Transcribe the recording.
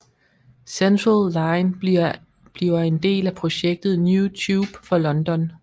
Central line bliver en del af projektet New Tube for London